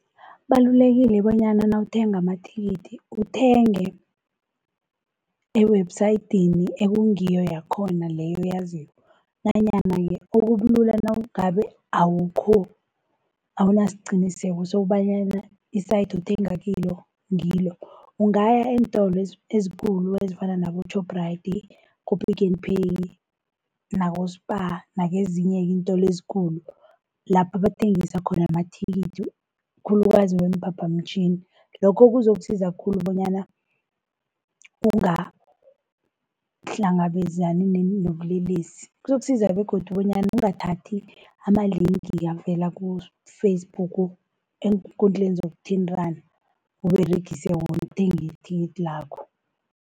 Kubalulekile bonyana nawuthenga amathikithi uthenge ewebhusayidini ekungiyo yakhona leyo oyaziko. Nanyana-ke okulula nangabe awukho, awunasiqiniseko sokobanyana i-site othenga kilo ngilo. Ungaya eentolo ezikhulu ezifana nabo-Shoprite, ku-Pick n Pay nabo-Spar nakezinye-ke iintolo ezikhulu lapha abathengisa khona amathikithi khulukazi weemphaphamtjhini. Lokho kuzokusiza khulu bonyana ungahlangabezani nobulelesi, kuzokusiza begodu bonyana ungathathi ama-link avela ku-Facebook, eenkundleni zokuthintana uberegise wona ukuthenga ithikithi lakho.